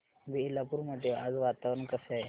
बेलापुर मध्ये आज वातावरण कसे आहे